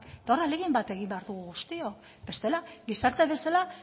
eta hor ahalegin bat egin behar dugu guztiok bestela gizarte bezala